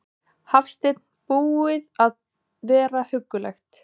Hafsteinn: Búið að vera huggulegt?